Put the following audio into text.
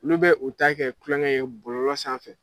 Olu bɛ u ta kɛ tulonkɛ ye bolɔlɔ sanfɛ